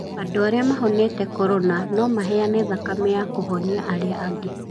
Andũ arĩa mahonete korona no maheane thakame ya kũhonia arĩa angĩ.